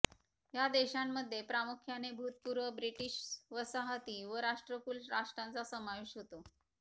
ह्या देशांमध्ये प्रामुख्याने भूतपूर्व ब्रिटिश वसाहती व राष्ट्रकुल राष्ट्रांचा समावेश होतो